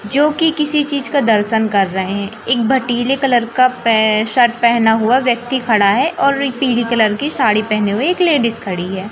जो कि किसी चीज का दर्शन कर रहे हैं एक भटिले कलर का पै शर्ट पहना हुआ व्यक्ति खड़ा है और एक पीले कलर की साड़ी पहने हुए एक लेडिस खड़ी है।